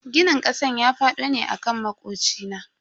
Ginin kasan ya fado ne akan makocina.